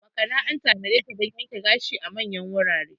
Makana an tanadeta dan yanke gashi a manyan wurare.